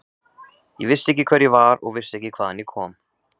Ég vissi ekki hver ég var og vissi ekki hvaðan ég kom.